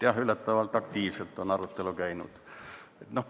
Jah, üllatavalt aktiivselt on arutelu käinud.